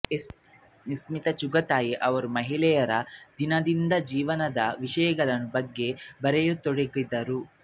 ಇಸ್ಮತ್ ಚುಗತಾಯಿ ಅವರು ಮಹಿಳೆಯರ ದೈನಂದಿನ ಜೀವನದ ವಿಷಯಗಳ ಬಗ್ಗೆ ಬರೆಯ ತೊಡಗಿದರು